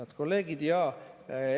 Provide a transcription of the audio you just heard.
Head kolleegid!